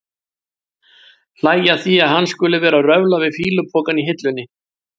Hlæja að því að hann skuli vera að röfla við fýlupokann á hillunni.